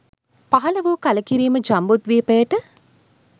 පහළ වූ කළකිරීම ජම්බුද්වීපයට